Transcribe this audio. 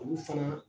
Olu fana